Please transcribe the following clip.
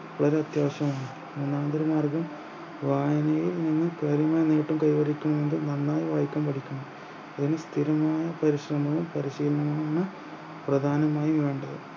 ഒരത്യാവശ്യമാണ് ഒന്നാന്തര മാർഗം വായനയിൽ നിന്ന് പരമനേട്ടം കൈവരിക്കാൻ വേണ്ടി നന്നായി വായിക്കാൻ പഠിക്കണം ഒരു സ്ഥിരമായ പരിശ്രമവും പരിശീലനവുമാണ് പ്രധാനമായി വേണ്ടത്